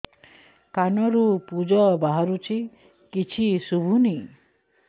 କାନରୁ ପୂଜ ବାହାରୁଛି କିଛି ଶୁଭୁନି